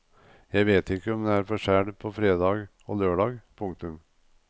Jeg vet ikke om det er forskjell på fredag og lørdag. punktum